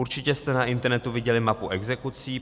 Určitě jste na internetu viděli mapu exekucí.